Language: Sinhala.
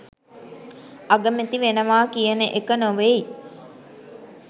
අගමැති වෙනවා කියන එක නොවෙයි.